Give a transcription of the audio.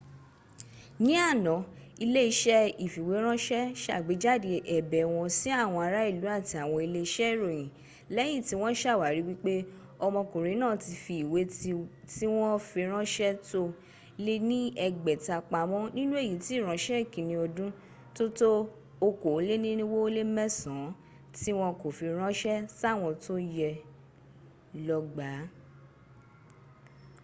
ní àná ilé-iṣẹ́ ìfìwéránṣẹ́ sàgbéjáde ẹ̀bẹ̀ wọn sí àwọn ará ìlú àti àwọn ilé-iṣẹ́ ìròyìn lẹ́yin tí wọ́n sàwárí wípé ọmọkùnrin náà ti fi ìwé tíwọ́nfiránṣẹ́ tó lé ní ẹgbẹ̀ta pamọ́́ nínú èyí tí ìránṣẹ́ ìkínni ọdún tó tó okòólénirinwó ó lé mẹ́sàn án tí wọ́n kò fi ránṣẹ́ sáwọn tó yẹ ló gbàá